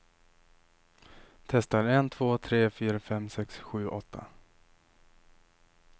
Testar en två tre fyra fem sex sju åtta.